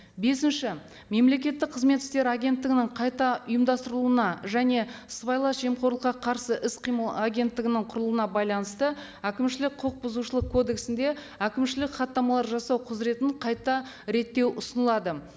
бесінші мемлекеттік қызмет істері агенттігінің қайта ұйымдастыруына және сыбайлас жемқорлыққа қарсы іс қимыл агенттігінің құруына байланысты әкімшілік құқық бұзушылық кодексінде әкімшілік хаттамалар жасау құзыретін қайта реттеу ұсынылады